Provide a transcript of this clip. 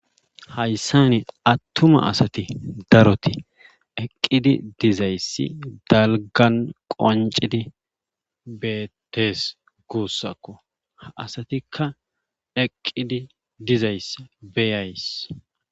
Hayssani attuma asati daroti eqqidi dizayssi dalgan qoncidi beettes guussakko ha asatikka eqqidi dizayss beyays.